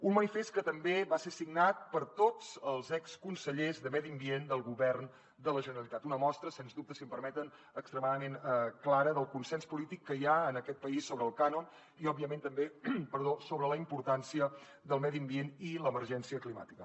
un manifest que també va ser signat per tots els exconsellers de medi ambient del govern de la generalitat una mostra sens dubte si m’ho permeten extremadament clara del consens polític que hi ha en aquest país sobre el cànon i òbviament també sobre la importància del medi ambient i l’emergència climàtica